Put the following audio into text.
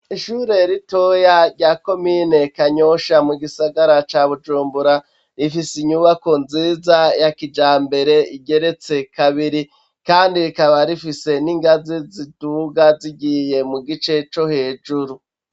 Ishure ritoya rya komine kanyosha mu gisagara ca Bujumbura, rifise inyubako nziza yakijambere igeretse kabiri, kandi rikaba rifise n'ingazi ziduga zigiye mu gice co hejuru.